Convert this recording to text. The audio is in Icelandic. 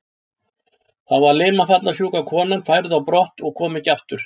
Þá var limafallssjúka konan færð á brott og kom ekki aftur.